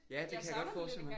Ja det kan jeg godt forestille mig